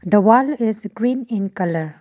The wall is green in colour.